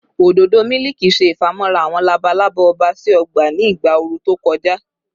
ododo miliki ṣe ifamọra awọn labalaba ọba si ọgba ni igba ooru to kọja